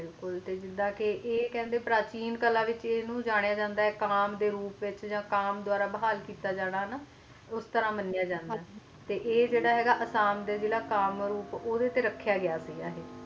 ਬਿਲਕੁਲ ਤੇ ਜਿਸ ਤਰ੍ਹਾਂ ਕਹਿੰਦੇ ਨੇ ਪੈਰਾ ਟੀਨ ਕਲਾ ਦੇ ਵਿਚ ਇਨਹੁ ਜਣਾਯਾ ਜਾਂਦਾ ਆਏ ਕੰਮ ਦੇ ਰੂਪ ਵਿਚ ਤੇ ਕਾਮ ਦੁਬਾਰਾ ਬਹਾਲ ਕੀਤਾ ਜਾਣਾ ਨਾ ਉਸ ਤਰ੍ਹਾਂ ਮਾਣਿਆ ਜਾਂਦਾ ਆਏ ਤੇ ਅਹਿ ਅਸਸਾਂ ਦੇ ਜ਼ਿੱਲਾ ਕਾਮਰੂਪ ਦੇ ਵਿਚ ਰੱਖਿਆ ਜਾਂਦਾ ਹੈ